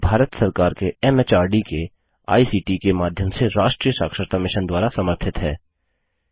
यह भारत सरकार के एमएचआरडी के आईसीटी के माध्यम से राष्ट्रीय साक्षरता मिशन द्वारा समर्थित है